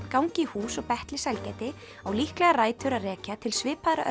gangi í hús og betli sælgæti á líklega rætur að rekja til svipaðra